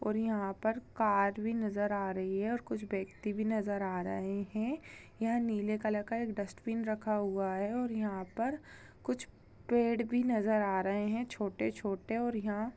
और यहाँ पर कार भी नज़र आ रही हैं और कुछ व्यक्ति भी नज़र आ रहे हैं यहाँ नीले कलर का एक डस्टबिन रखा हुआ हैं और यहाँ पर कुछ पेड़ भी नज़र आ रहे हैं छोटे-छोटे और यहाँ--